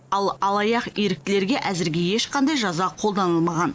ал алаяқ еріктілерге әзірге ешқандай жаза қолданылмаған